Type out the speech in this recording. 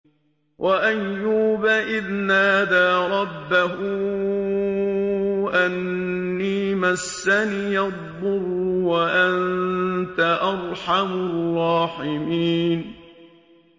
۞ وَأَيُّوبَ إِذْ نَادَىٰ رَبَّهُ أَنِّي مَسَّنِيَ الضُّرُّ وَأَنتَ أَرْحَمُ الرَّاحِمِينَ